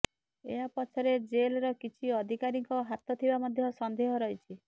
ଏହାପଛରେ jail ର କିଛି ଅଧିକାରୀଙ୍କ ହାତ ଥିବା ମଧ୍ୟ ସନ୍ଦେହ ରହିଛି